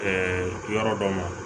yɔrɔ dɔ ma